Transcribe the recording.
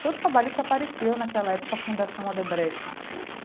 Foi o trabalho que apareceu naquela época, a Fundação Odebrecht.